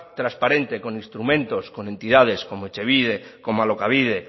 transparente con instrumentos con entidades como etxebide como alokabide